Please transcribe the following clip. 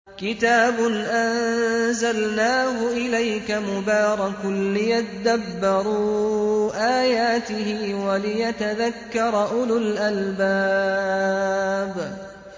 كِتَابٌ أَنزَلْنَاهُ إِلَيْكَ مُبَارَكٌ لِّيَدَّبَّرُوا آيَاتِهِ وَلِيَتَذَكَّرَ أُولُو الْأَلْبَابِ